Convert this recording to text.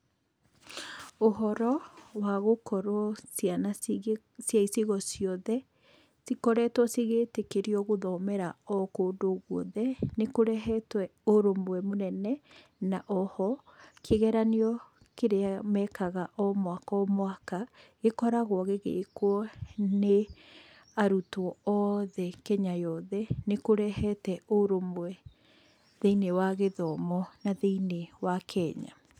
Ũhoro wa gũkorwo ciana cigĩ cia icigo ciothe cikoretwo cigĩtĩkĩrio gũthomera o kũndũ guothe, nĩkũrehetwe ũrũmwe mũnene, na oho kĩgeranio kĩrĩa mekaga o mwaka o mwaka, gĩkoragwo gĩgĩkwo nĩ arutwo othe Kenya yothe, nĩkũrehete ũrũmwe thĩiniĩ wa gĩthomo na thĩiniĩ wa Kenya.